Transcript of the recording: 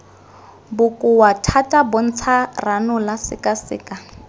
bokoa thata bontsha ranola sekaseka